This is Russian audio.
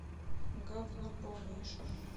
говно полнейшее